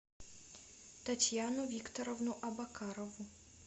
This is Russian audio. татьяну викторовну абакарову